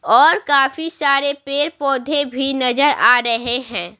और काफी सारे पेड़-पौधे भी नजर आ रहे हैं।